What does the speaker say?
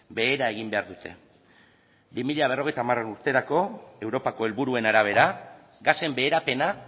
behera egin behar dute bi mila berrogeita hamar urterako europako helburuen arabera gasen beherapena